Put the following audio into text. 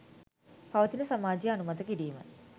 පවතින සමාජය අනුමත කිරීම